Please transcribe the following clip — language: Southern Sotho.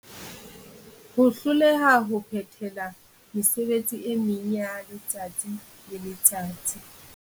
Ho hloleha ho phethela mesebetsi e meng yaletsatsi le letsatsi.